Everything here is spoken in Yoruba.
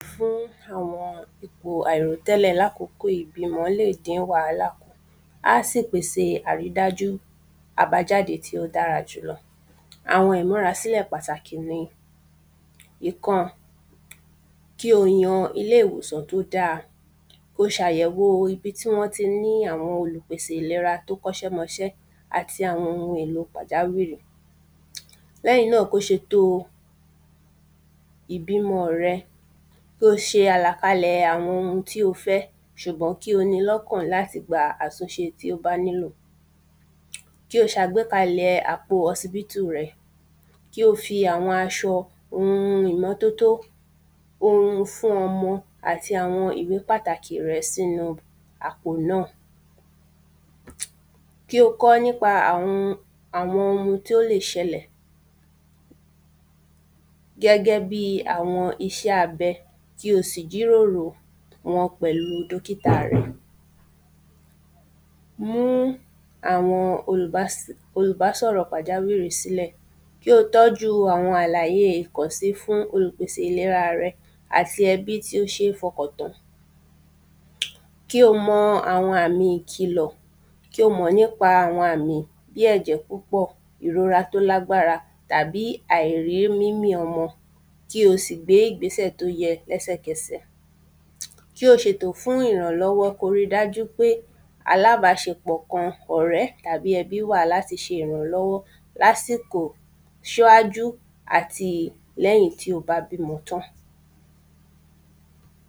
Fún àwọn ipò àìrò tẹ́lẹ̀ lákókò ìbímọ lè dín wàhálà kù Á sì pèsè àrídájú àbájáde tí ó dára jùlọ Àwọn ìmúrasílẹ̀ pàtàkì ni Ìkan kí o yan ilé ìwòsàn tí ó da Kí o ṣe àyẹ̀wo ibi tí wọn ti ní àwọn olùpèsè ìlera tí ó kọ́ iṣẹ́ mọ iṣẹ́ àti àwọn oun èlò pàjáwìrì Lẹ́yìn náà kí o ṣètò ìbímọ rẹ Kí o ṣe àlàkalẹ̀ àwọn oun tí o fẹ́ ṣùgbọ́n kí o ni lọ́kàn láti gba àtúnṣe tí ó bá nílò Kí o ṣe àgbékalẹ̀ àpò hospital rẹ Kí o fi àwọn aṣọ oun ìmọ́tótó oun fún ọmọ àti àwọn ìwé pàtàkì rẹ sínú àpò náà Kí o kọ́ nípa àwọn oun tí ó lè ṣẹlẹ̀ gẹ́gẹ́ bíi iṣẹ́ abẹ kí o sì jíròrò wọn pẹ̀lú dókità rẹ Mú àwọn olùbásọ̀rọ̀ pàjáwìrì sílẹ̀ Kí o tọ́jú àwọn àlàyé ìkọ̀ sí fún olùpèsè ìlera rẹ àti ẹbí tí ó ṣe fọkàntán Kí o mọ àwọn àmì ìkìlọ̀ Kí o mọ̀ nípa àwọn àmì bí ẹ̀jẹ̀ púpọ̀ ìrora tí ó ní agbára tàbí àìrímúmí ọmọ kí o sì gbé ìgbésẹ̀ tí ó yẹ ní ẹsẹ̀kẹsẹ̀ Kí o ṣe ètò fún ìrànlọ́wọ́ kí o ri dájú pé alábáṣepọ̀ kan ọ̀rẹ́ tàbí ẹbí wà láti ṣe ìrànlọ́wọ́ lásìkò ṣíwájú àti lẹ́yìn tí o bá bímọ tán